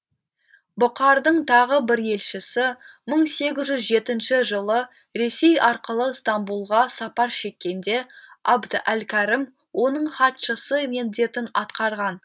бұқардың тағы бір елшісі мың сегіз жүз жетінші жылы ресей арқылы стамбұлға сапар шеккенде абд әл кәрім оның хатшысы міндетін атқарған